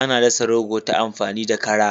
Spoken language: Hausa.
Ana dasa rogo ta amfani da kara.